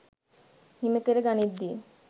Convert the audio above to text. හිමි කර ගනිද්දී